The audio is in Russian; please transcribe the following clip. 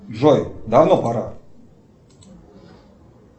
джой давно пора